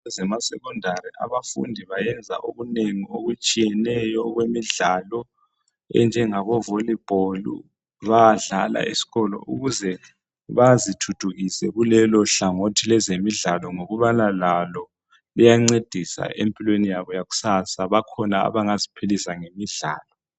kwezema secondary abafundi bayenza okunengi okutshiyeneyo okwemidlalo enjengabo volleyball bayadlala esikolo ukuze bazithuthukise kulelo hlangothi lwezemidlalo ngokubaa lalo luyancedisa empilweni yabo kusasa kukhona abangaziphilisa ngemidlalo